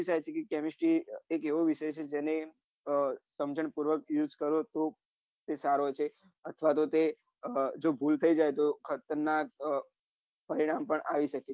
ત્યાર સુધી chemistry એક એવો વિષય છે કે જેને સમજણ પૂર્વક use કરો તો તે સારો છે અથવા તે ભૂલ થઇ જાય તો એ ખતરનાક પરિણામ આવી શકે છે